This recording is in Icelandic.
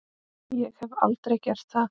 Ég hef aldrei gert það.